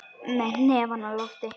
Með hnefann á lofti.